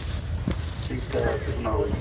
ਹਾਂਜੀ sir ਕੀ ਹਾਲ ਆ ਜੀ